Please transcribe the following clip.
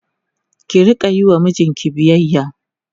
ki Rika Yi wa mijinki biyayya